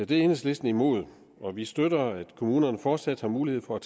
det er enhedslisten imod og vi støtter at kommunerne fortsat har mulighed for at